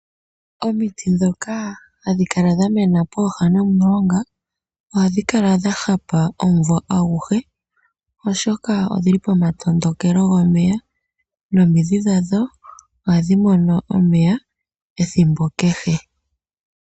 Omiti dhoka hadhi kala dha mena pooha nomulonga ohadhi kala dha hapa omunvo aguhe oshoka odhili pomatondokelo gomeya nomidhi dhadho ohadhi mono omeya ethimbo kehe.